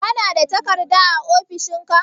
Kana da takarda a ofishin ka?